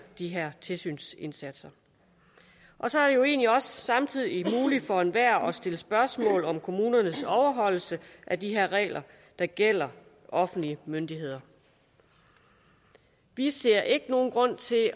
de her tilsynsindsatser og så er det jo egentlig også samtidig muligt for enhver at stille spørgsmål om kommunernes overholdelse af de her regler der gælder offentlige myndigheder vi ser ikke nogen grund til at